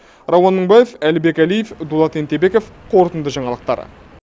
рауан мыңбаев әлібек әлиев дулат ентебеков қорытынды жаңалықтар